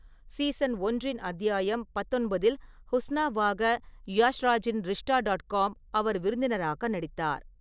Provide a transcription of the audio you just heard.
Season ஒன்றின் அத்தியாயம் பத்தொன்பதில் ஹுஸ்னாவாக யாஷ் ராஜின் ரிஷ்டா டாட் காம் அவர் விருந்தினராக நடித்தார்.